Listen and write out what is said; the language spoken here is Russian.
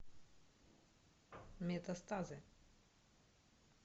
метастазы